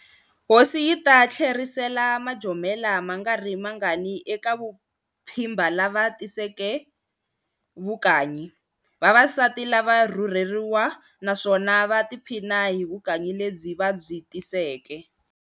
Hosi yi ta thlerisela majomela mangari mangani eka vu pfhimba lava tiseke vukanyi. Vavasati lava rhurheriwa naswona va tiphina hi vukanyi lebyi va byitiseke.